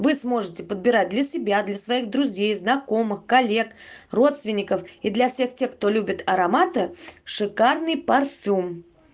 вы сможете подбирать для себя для своих друзей знакомых коллег родственников и для всех тех кто любит ароматы шикарный парфюм